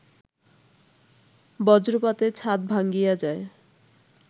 বজ্রপাতে ছাদ ভাঙ্গিয়া যায়